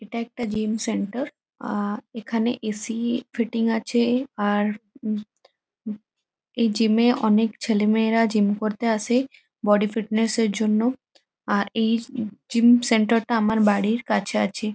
এটা একটা gym centre. আ-এখানে এ . সি. ফিটিং আছে। আর উম উম এই জিম -এ অনেক ছেলে মেয়েরা জিম করতে আসে বডি ফিটনেস -এর জন্য । আর এই উম জিম সেন্টার -টা আমার বাড়ির কাছে আছে।